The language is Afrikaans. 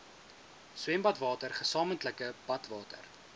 swembadwater gesamentlike badwater